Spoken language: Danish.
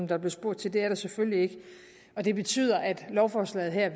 der blev spurgt til det er der selvfølgelig ikke og det betyder at lovforslaget her